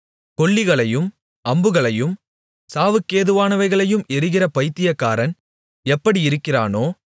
கொள்ளிகளையும் அம்புகளையும் சாவுக்கேதுவானவைகளையும் எறிகிற பைத்தியக்காரன் எப்படியிருக்கிறானோ